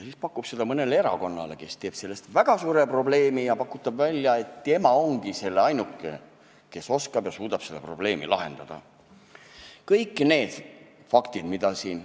Siis ta pakub seda mõnele erakonnale, kes teeb sellest väga suure probleemi ja pakub välja, et tema ongi ainuke, kes oskab ja suudab seda probleemi lahendada.